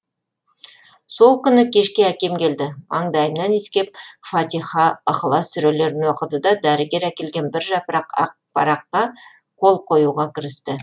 сол күні кешке әкем келді маңдайымнан иіскеп фатиха ыхлас сүрелерін оқыды да дәрігер әкелген бір жапырақ ақ параққа қол қоюға кірісті